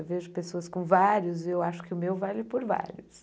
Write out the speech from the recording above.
Eu vejo pessoas com vários e eu acho que o meu vale por vários.